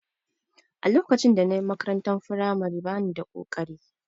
A lokacin da na yi makarantar firamare ba ni da ƙoƙari